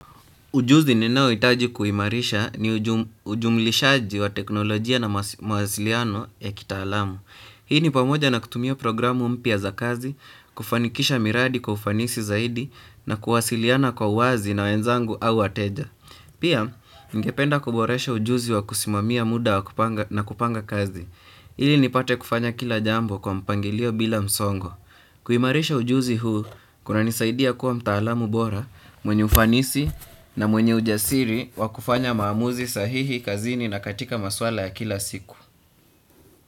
Ujuzi ninaohitaji kuimarisha ni ujumlishaji wa teknolojia na mawasiliano ya kitaalamu. Hii ni pamoja na kutumia programu mpya za kazi, kufanikisha miradi kwa ufanisi zaidi na kuwasiliana kwa wazi na wenzangu au wateja. Pia, ningependa kuboresha ujuzi wa kusimamia muda na kupanga kazi. Hili nipate kufanya kila jambo kwa mpangilio bila msongo. Kuimarisha ujuzi huu kunanisaidia kuwa mtaalamu bora mwenye ufanisi na mwenye ujasiri wa kufanya maamuzi sahihi kazini na katika masuala ya kila siku.